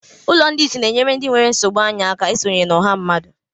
Ụlọ ndị ìsì na-enyere ndị nwere nsogbu anya aka isonye na ọha mmadụ.